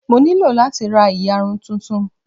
Mo nílò láti ra ìyarun tuntun.